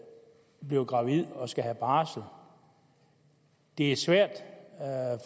bliver gravid og skal have barsel det er svært